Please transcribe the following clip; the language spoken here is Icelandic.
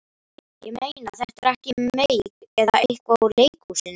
Ég meina, þetta er ekki meik eða eitthvað úr leikhúsinu?